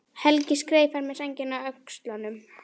Helgi skreiðist fram með sængina á öxlunum.